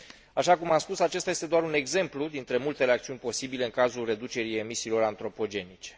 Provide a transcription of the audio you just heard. Așa cum am spus, acesta este doar un exemplu dintre multele acțiuni posibile în cazul reducerii emisiilor antropogenice.